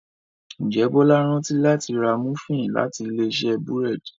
njé Bola rántí láti rà Múfìn láti Ilé-iṣẹ́ búrẹ́d